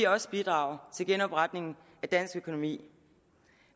også bidrage til genopretningen af dansk økonomi